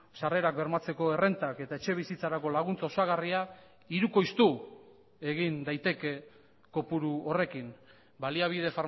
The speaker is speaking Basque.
sarrerak bermatzeko errentak eta etxebizitzarako laguntza osagarria hirukoiztu egin daiteke kopuru horrekin baliabide